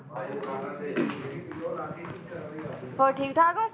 ਹੋਰ ਠੀਕ ਠਾਕ ਓ?